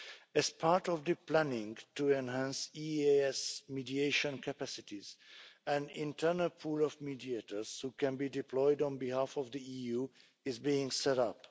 As part of planning to enhance EEAS mediation capacities, an internal pool of mediators which can be deployed on behalf of the EU is being set up.